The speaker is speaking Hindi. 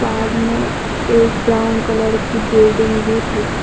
बाद में एक ब्राउन कलर की बिल्डिंग भी है।